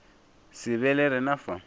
se be le rena fa